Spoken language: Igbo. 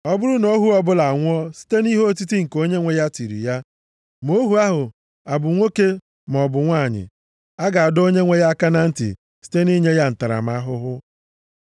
“Ọ bụrụ na ohu ọbụla anwụọ site nʼihe otiti nke onyenwe ya tiri ya, ma ohu ahụ ọ bụ nwoke maọbụ nwanyị, a ga-adọ onyenwe ya aka na ntị site nʼinye ya ntaramahụhụ.